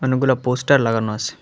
অনেকগুলা পোস্টার লাগানো আছে।